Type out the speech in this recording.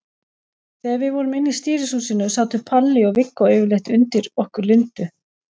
Þegar við vorum inni í stýrishúsinu sátu Palli og Viggó yfirleitt undir okkur Lindu.